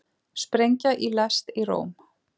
Sprengja í lest í Róm